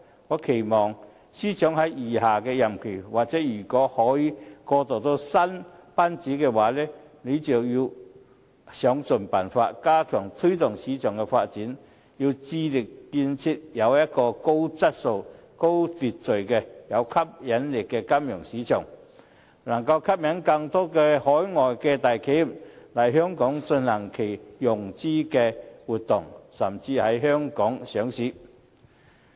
我期望司長在餘下的任期——或如果可以過渡到新班子——要想盡辦法，加強推動市場發展，致力建立高質素、有秩序、有吸引力的金融市場，俾能吸引更多海外大企業來港進行融資活動，甚至在香港上市。